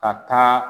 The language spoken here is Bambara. Ka taa